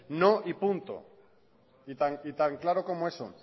no y punto y tan claro como eso